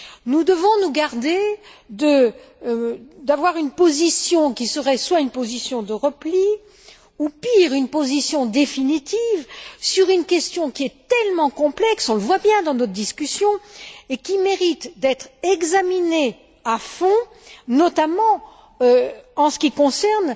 Nous devons nous garder d'avoir une position qui serait une position de repli ou, pire, une position définitive sur une question qui est tellement complexe on le voit bien, dans nos discussions et qui mérite d'être examinée à fond, notamment en ce qui concerne